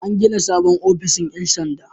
An gina sabon ofishin 'yan sanda.